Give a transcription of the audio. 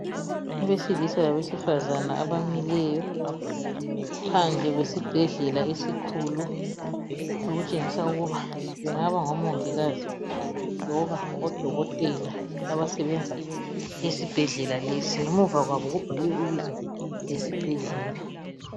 Abesilisa labesifazana abamileyo phandle kwesibhedlela esikhulu okutshengisa ukuba bengaba ngomongikazi loba odokotela abasebenza esibhedlela lesi ngemuva kwabo kubhaliwe ibizo lesibhedlela.